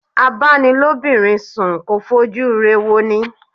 A-bá-ni-lóbinrin sùn kò fojú ire wọni.